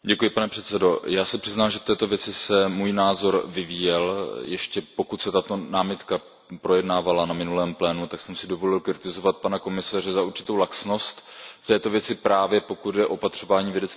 Já se přiznám, že k této věci se můj názor vyvíjel, ještě pokud se tato námitka projednávala na minulém plénu, tak jsem si dovolil kritizovat pana komisaře za určitou laxnost v této věci, právě pokud jde o opatřování vědeckých poznatků.